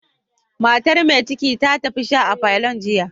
Matar mai ciki ta tafi sha a parlourn giya.